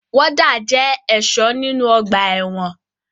Wọ́dà jẹ́ ẹ̀ṣọ́ nínu ọgbà ẹ̀wọ̀n